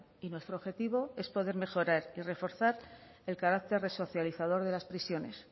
y nuestro objetivo es poder mejorar y reforzar el carácter resocializador de las prisiones